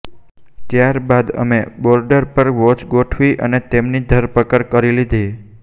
ત્યારબાદ અમે બોર્ડર પર વોચ ગોઠવી અને તેમની ધરપકડ કરી લીધી